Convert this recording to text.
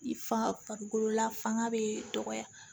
I fa farikolola fanga be dɔgɔya